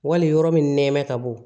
Wali yɔrɔ min nɛmɛ ka bɔ